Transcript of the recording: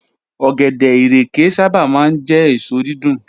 Ọ̀gẹ̀dẹ̀, ìrèké sábà máa ń jẹ́ èso dídùn